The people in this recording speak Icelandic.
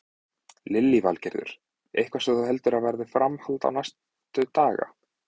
Lillý Valgerður: Er þetta eitthvað sem þú heldur að verði framhald á næstu daga?